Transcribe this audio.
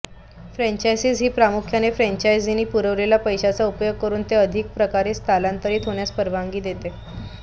franchising ही प्रामुख्याने फ्रँचाइझींनी पुरवलेल्या पैशाचा उपयोग करून ते अधिक प्रकारे स्थलांतरित होण्यास परवानगी देते